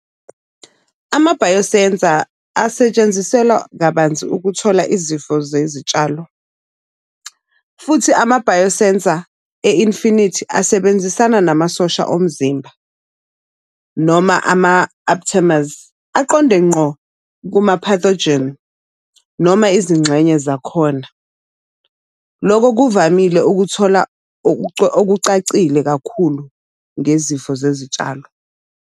Ama-biosensor asetshenziselwa kabanzi ukuthola izifo zezitshalo. Futhi ama-biosensor e-infinity asebenzisana namasosha omzimba, noma ama-aphithimusi aqonde ngqo kuma-pathogen noma izingxenye zakhona. Loko kuvamile ukuthola okucacile kakhulu ngezifo zezitshalo.